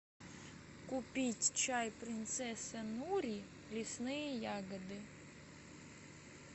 купить чай принцесса нури лесные ягоды